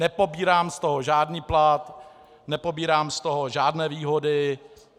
Nepobírám z toho žádný plat, nepobírám z toho žádné výhody.